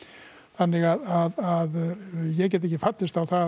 þannig að ég get ekki fallist á það að